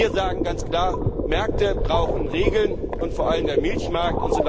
Wir sagen ganz klar Märkte brauchen Regeln, vor allem der Milchmarkt!